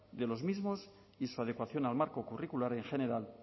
de los mismos y su adecuación al marco curricular en general